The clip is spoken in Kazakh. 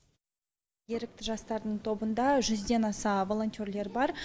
ерікті жастардың тобында жүзден аса волонтерлер бар